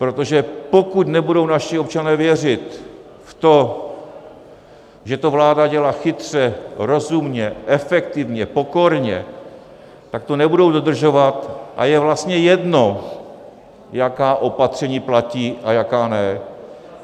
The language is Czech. Protože pokud nebudou naši občané věřit v to, že to vláda dělá chytře, rozumně, efektivně, pokorně, tak to nebudou dodržovat a je vlastně jedno, jaká opatření platí a jaká ne.